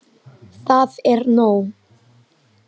Það er nóg.